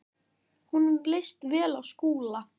Honum leist vel á Skúla.